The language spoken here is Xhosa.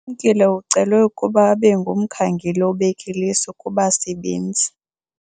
Ulumkile ucelwe ukuba abe ngumkhangeli obek' iliso kubasebenzi.